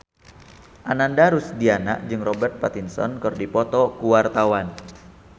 Ananda Rusdiana jeung Robert Pattinson keur dipoto ku wartawan